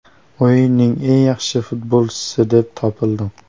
O‘yinning eng yaxshi futbolchisi deb topildim?